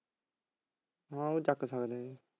ਹਾਂ ਉਹ ਚੱਕ ਸਕਦੇ ਹਾਂ